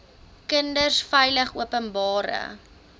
kinders veilig openbare